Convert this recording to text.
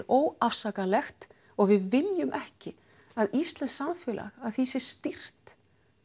óafsakanlegt og við viljum ekki að íslenskt samfélag að því sé stýrt